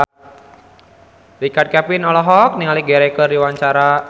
Richard Kevin olohok ningali Richard Gere keur diwawancara